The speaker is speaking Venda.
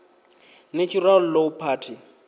natural law party